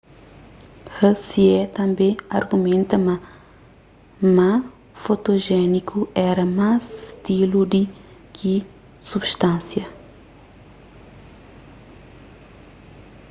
hsieh tanbê argumenta ma ma fotojéniku éra más stilu di ki substansia